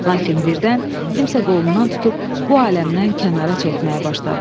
Lakin birdən kimsə qolundan tutub bu aləmdən kənara çəkməyə başladı.